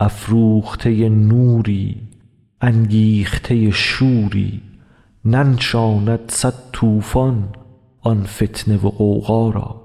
افروخته نوری انگیخته شوری ننشاند صد طوفان آن فتنه و غوغا را